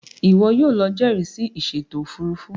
Iwọ yóò ló jẹrisi ìsèto òfurufú